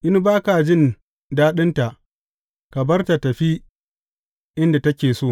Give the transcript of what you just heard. In ba ka jin daɗinta, ka bar tă tafi inda take so.